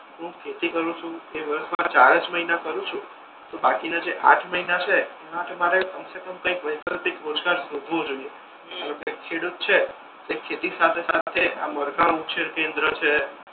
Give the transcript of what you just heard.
કે હુ ખેતી કરુ છુ એ વર્ષ મા ચાર જ મહિના કરુ છુ તો બાકીના આંઠ મહિના છે એ માટે મારે કમસેકમ વૈકલ્પિક યોજના શોધવી જોઈએ ધારો કે ખેડૂત છે એ ખેતી સાથે સાથે આ મરઘા ઉછેર કેન્દ્ર છે.